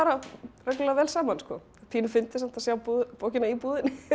reglulega vel saman pínu fyndið samt að sjá bókina í búðinni